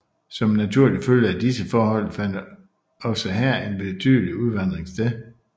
Som en naturlig følge af disse forhold fandt også her en betydelig udvandring sted